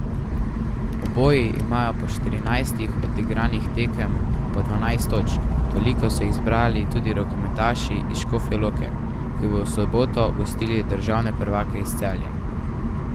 Oboji imajo po štirinajstih odigranih tekem po dvanajst točk, toliko so jih zbrali tudi rokometaši iz Škofje Loke, ki bodo v soboto gostili državne prvake iz Celja.